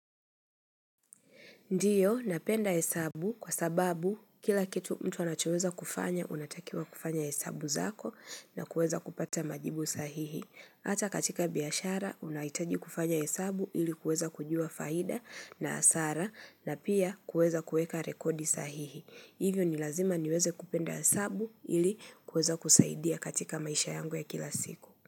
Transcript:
Ndiyo, napenda hesabu kwa sababu kila kitu mtu anachoweza kufanya, unatakiwa kufanya hesabu zako na kueza kupata majibu sahihi. Ata katika biashara, unahitaji kufanya hesabu ili kuweza kujua faida na hasara na pia kuweza kueka rekodi sahihi. Hivyo ni lazima niweze kupenda hesabu ili kueza kusaidia katika maisha yangu ya kila siku.